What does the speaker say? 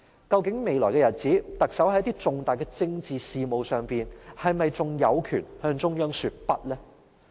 究竟在未來的日子裏，特首在重大的政治事務上，是否仍有權向中央說不？